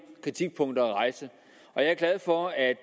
kritikpunkter at rejse jeg er glad for at